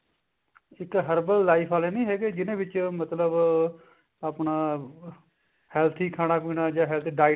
ਜਿੱਥੇ herbal life ਆਲੇ ਨੀ ਹੈਗੇ ਜਿਹਨਾ ਵਿੱਚ ਮਤਲਬ ਆਪਣਾ ਜਾਂ health diet